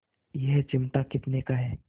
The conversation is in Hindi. यह चिमटा कितने का है